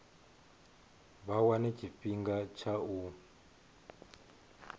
vha wane tshifhinga tsha u